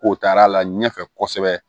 Ko taar'a la ɲɛfɛ kosɛbɛ